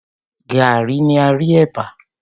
Gaàrí ni a rí ẹ̀bà.